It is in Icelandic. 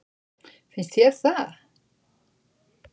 Finnst þér það?